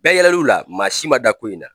Bɛɛ yɛlɛl'u la maa si ma da ko in na